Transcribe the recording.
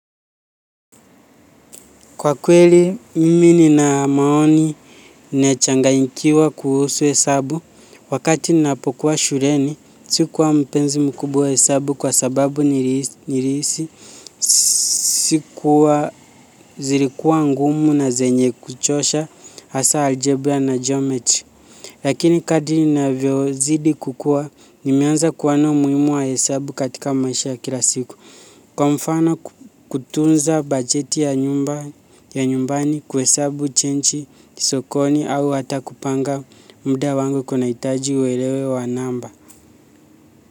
Kwa kweli, mimi nina maoni nechanga nikiwa kuhusu hesabu. Wakati ninaapokuwa shureni, sikuwa mpenzi mkubwa wa hesabu kwa sababu nirisi. Sikuwa zirikuwa ngumu na zenye kuchosha, hasa algebra na geometry. Lakini kadini na vyo zidi kukua, nimeanza kuona muimu wa hesabu katika maisha kila siku. Kwa mfano kutunza bajeti ya nyumbani kwe sabu chenchi sokoni au hata kupanga mbida wango kuna itaji uwelewe wa namba.